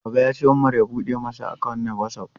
Baba ya ce Umar ya bude masa account na WhatsApp.